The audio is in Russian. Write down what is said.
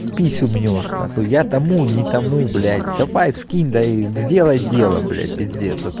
писю мнёшь нахуй я тому не тому блять давай скинь да и сделай дело блять пиздец а то